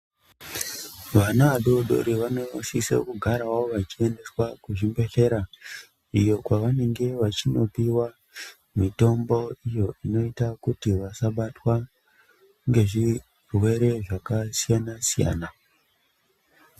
Vana adodori vanosisa kugarawo vachiendeswa kuchibhelera iyo kwavanenge vachinopiwa mitombo iyo inoita kuti vasabatwa ngezvirwere zvakasiyana siyana